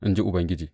in ji Ubangiji.